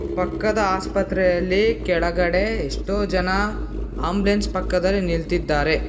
ಪಕ್ಕದ ಆಸ್ಪತ್ರೆಯಲ್ಲಿ ಕೆಳಗಡೆ ಎಷ್ಟೋ ಜನ ಆಂಬುಲೆನ್ಸ್ ಪಕ್ಕದಲ್ಲಿ ನಿಲ್ತಿದ್ದಾರೆ.